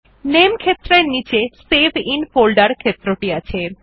নামে ক্ষেত্রের নীচে সেভ আইএন ফোল্ডের ক্ষেত্রটি আছে